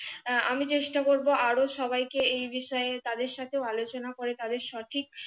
আহ চেষ্টা করবো আরো সবাই কে এই বিষয়ে তাদের সাথে ও আলোচনা আলোচনা করে তাদের সঠিক